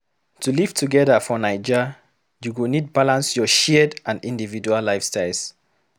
To live together for Naija, you go need balance your shared and individual lifestyles.